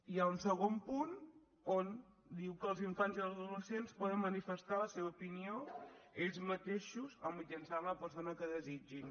hi ha un segon punt on diu que els infants i els adolescents poden manifestar la seva opinió ells mateixos o mitjançant la persona que desitgin